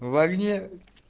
в огне